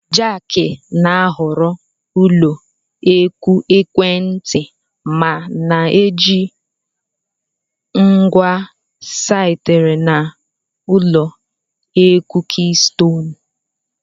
Jack na-ahọrọ ụlọ akụ ekwentị ma na-eji ngwa sitere na Ụlọ akụ Keystone